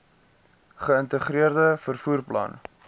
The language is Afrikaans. geïntegreerde vervoer plan